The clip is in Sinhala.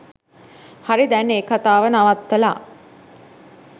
හරි දැන් ඒ කතාව නවත්තලා